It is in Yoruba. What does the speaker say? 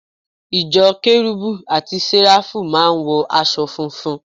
Ìjọ Kérubù àti Séráfù máà ń wọ aṣọ funfun